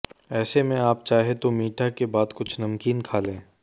ऐसे में आप चाहे तो मीठा के बाद कुछ नमकीन खा लें